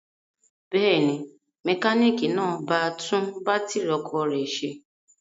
Bẹ́ẹ̀ ni, mẹkáníkì náà ba tún bátírí ọ̀kadà rẹ̀ ṣe.